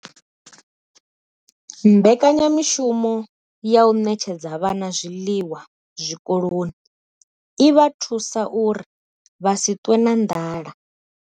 Mbekanyamushumo ya u ṋetshedza vhana zwiḽiwa zwikoloni i vha thusa uri vha si ṱwe na nḓala.